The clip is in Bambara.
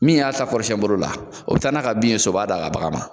Min y'a ta kɔrɔsiyɛn boro la o bɛ taa n'a ka bin ye so o b'a d'a ka bagan ma.